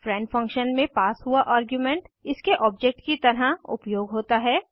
friend function में pass हुआ argument इसके ऑब्जेक्ट की तरह उपयोग होता है